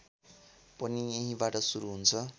पनि यहीँबाट सुरु हुन्छ